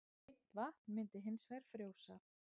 hreint vatn myndi hins vegar frjósa